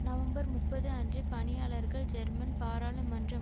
November முப்பது அன்று பணியாளர்கள் ஜெர்மன் பாராளுமன்றம்